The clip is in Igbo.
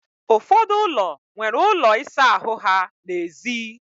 Ụfọdụ ụlọ nwere ụlọ ịsa ahụ ha n'èzí.